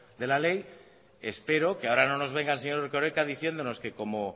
de la ley espero que ahora no nos venga el señor erkoreka diciéndonos que como